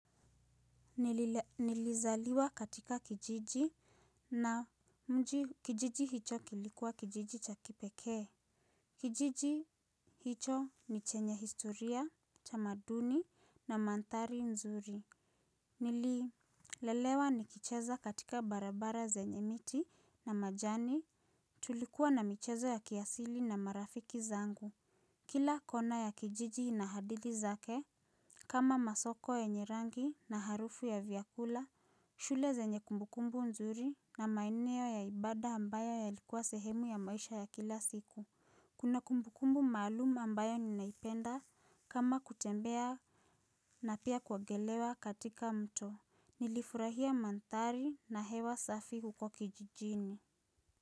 Nilizaliwa katika kijiji na mji kijiji hicho kilikuwa kijiji cha kipekee. Kijiji hicho ni chenye historia tamaduni na manthari nzuri. Nililelewa ni kicheza katika barabara zenye miti na majani tulikuwa na michezo ya kiasili na marafiki zangu. Kila kona ya kijiji inahadithi zake kama masoko yenye rangi na harufu ya vyakula. Shule zenye kumbukumbu nzuri na maeneo ya ibada ambayo yalikuwa sehemu ya maisha ya kila siku. Kuna kumbukumbu maalum ambayo ninaipenda kama kutembea na pia kuogelea katika mto. Nilifurahia manthari na hewa safi huko kijijini.